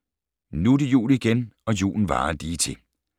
Nu det jul igen og julen varer lige til ...